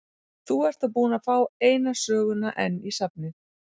Þú ert þá búinn að fá eina söguna enn í safnið!